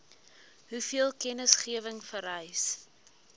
hoeveel kennisgewing vereis